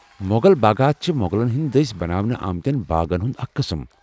مۄغل باغات چھ مۄغلن ہٕنٛدِ دٔسۍ بناونہٕ آمتٮ۪ن باغن ہُنٛد اکھ قٕسم ۔